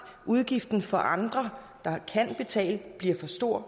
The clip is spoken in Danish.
udgiften for andre der kan betale bliver for stor